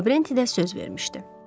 Lavrenti də söz vermişdi.